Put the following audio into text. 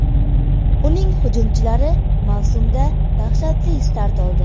Uning hujumchilari mavsumda dahshatli start oldi.